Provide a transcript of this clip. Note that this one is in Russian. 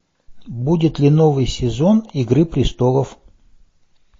будет ли новый сезон игры престолов